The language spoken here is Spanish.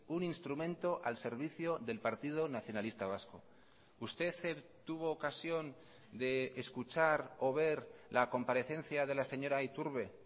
un instrumento al servicio del partido nacionalista vasco usted tuvo ocasión de escuchar o ver la comparecencia de la señora iturbe